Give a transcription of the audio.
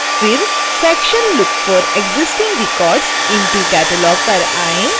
फिर section look for existing records in catalog पर आएँ